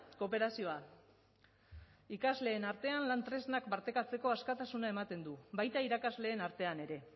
kooperazioa ikasleen artean lan tresnak partekatzeko askatasuna ematen du baita irakasleen artean ere